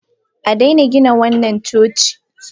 A daina gina wannan coci!